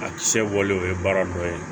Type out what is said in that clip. A kisɛ bɔlen o ye baara dɔ ye